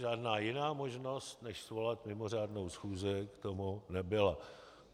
Žádná jiná možnost než svolat mimořádnou schůzi, k tomu nebyla.